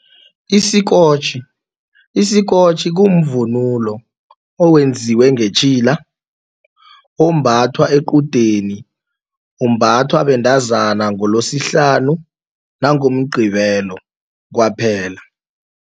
Isikotjhi, isikotjhi kumvunulo owenziwe ngetjhila ombathwa equdeni umbathwa bentazana ngoloSihlanu nangoMgqibelo kwaphela.